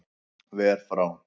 Ver frá